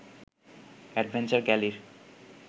adventure গ্যালির